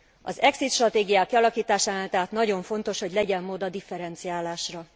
Az exit stratégiák kialakításánál tehát nagyon fontos, hogy legyen mód a differenciálásra.